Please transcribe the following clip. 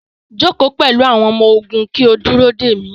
Joko pẹlu awọn ọmọ-ogun ki o duro de mi